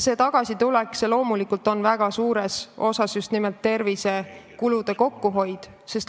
See tagasitulek tähendab loomulikult väga suures osas tervisekulude kokkuhoidu.